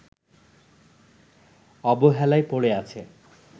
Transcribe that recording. অবহেলায় পড়ে আছে